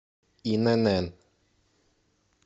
инн